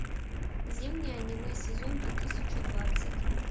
зимнее аниме сезон две тысячи двадцать